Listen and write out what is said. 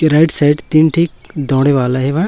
ये right side तीन ठे दौड़े वाला हे बा--